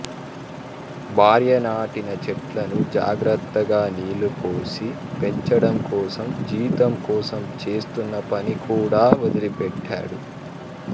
భార్య నాటిన చెట్లను జాగ్రత్తగా నీళ్ళు పోసి పెంచడం కోసం జీతం కోసం చేస్తున్న పని కూడా వదిలిపెట్టాడు